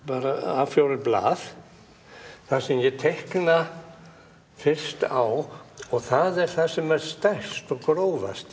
a fjórar blað þar sem ég teikna fyrst á og það er það sem er stærst og grófast